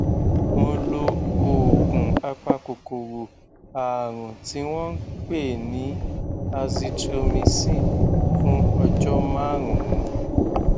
mo lo oògùn apakòkòrò ààrùn tí wọn ń pè ní azithromicin fún ọjọ márùnún